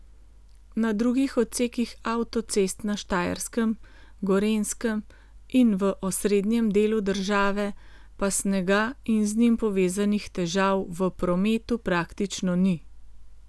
Na drugih odsekih avtocest na Štajerskem, Gorenjskem in v osrednjem delu države pa snega in z njim povezanih težav v prometu praktično ni.